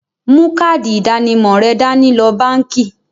Mú káàdì ìdánimọ̀ rẹ dání lọ báńkì.